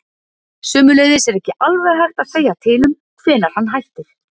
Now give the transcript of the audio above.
Sömuleiðis er ekki alveg hægt að segja til um hvenær hann hættir.